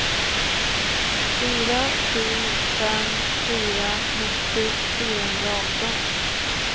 fyra sju fem fyra nittio fyrahundraarton